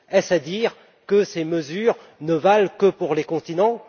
Est ce à dire que ces mesures ne valent que pour les continents?